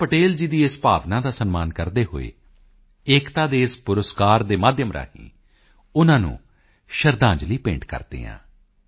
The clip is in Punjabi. ਪਟੇਲ ਜੀ ਦੀ ਇਸ ਭਾਵਨਾ ਦਾ ਸਨਮਾਨ ਕਰਦੇ ਹੋਏ ਏਕਤਾ ਦੇ ਇਸ ਪੁਰਸਕਾਰ ਦੇ ਮਾਧਿਅਮ ਰਾਹੀਂ ਉਨ੍ਹਾਂ ਨੂੰ ਸ਼ਰਧਾਂਜਲੀ ਭੇਂਟ ਕਰਦੇ ਹਾਂ